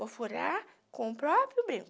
Vou furar com o próprio brinco.